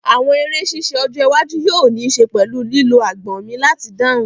Àwọn eré ṣíṣe ọjọ́ iwájú yóò ní ṣe pẹ̀lú lílo agbọ̀n mi láti dáhùn